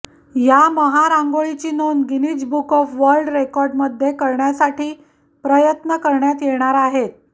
या महारांगोळीची नोंद गिनीज बुक ऑफ वर्ल्ड रेकॉर्डमध्ये करण्यासाठी प्रयत्न करण्यात येणार आहेत